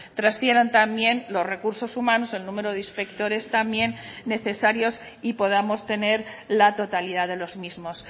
transfieran también los recursos humanos el número de inspectores también necesarios y podamos tener la totalidad de los mismos